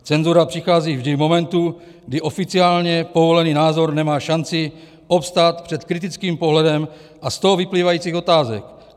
Cenzura přichází vždy v momentu, kdy oficiálně povolený názor nemá šanci obstát před kritickým pohledem a z toho vyplývajících otázek.